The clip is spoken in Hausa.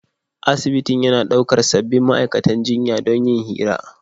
Asibitin yana daukar sabbin ma'aikatan jinya don yin hira.